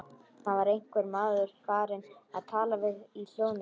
Það var einhver maður farinn að tala í hljóðnema.